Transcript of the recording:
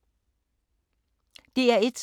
DR1